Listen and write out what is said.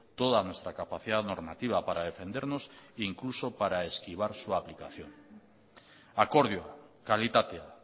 toda nuestra capacidad normativa para defendernos e incluso para esquivar su aplicación akordioa kalitatea